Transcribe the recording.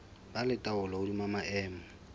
ba le taolo hodima maemo